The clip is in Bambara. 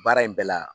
Baara in bɛɛ la